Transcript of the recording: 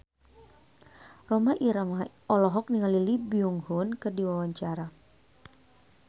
Rhoma Irama olohok ningali Lee Byung Hun keur diwawancara